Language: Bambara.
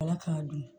Ala k'a dun